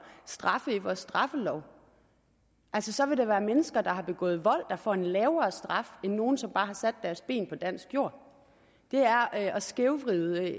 straffe i vores straffelov så vil der altså være mennesker der har begået vold får en lavere straf end nogle som bare har sat deres ben på dansk jord det er at skævvride